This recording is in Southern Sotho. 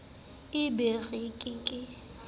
e be re ke ke